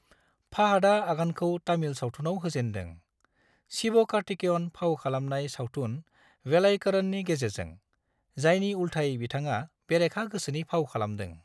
फाहादा आगानखौ तामिल सावथुनाव होजेनदों, शिवकार्तिकेयन फाव खालामनाय सावथुन वेलाइकरननि गेजेरजों, जायनि उल्थायै बिथाङा बेरेखा गोसोनि फाव खालामदों।